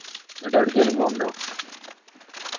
എന്നിട്ട് എവ്ടെക്കെലും പോണുണ്ടോ